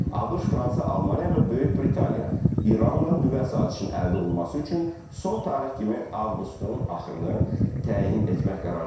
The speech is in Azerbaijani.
ABŞ, Fransa, Almaniya və Böyük Britaniya İranla nüvə sazişinin əldə olunması üçün son tarix kimi avqustun axırını təyin etmək qərarına gəliblər.